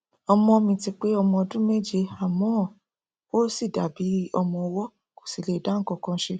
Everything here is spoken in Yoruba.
ọmọ mi ti pé ọmọ ọdún méje àmọ ó ṣì dàbí ọmọ ọwọ kó sì lè dá nǹkankan ṣe